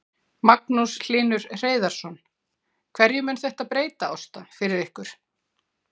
Magnús Hlynur Hreiðarsson: Hverju mun þetta breyta, Ásta, fyrir ykkur?